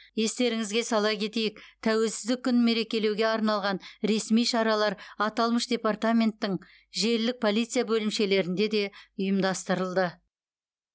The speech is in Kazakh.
естеріңізге сала кетейік тәуелсіздік күнін мерекелеуге арналған ресми шаралар аталмыш департаменттің желілік полиция бөлімшелерінде де ұйымдастырылды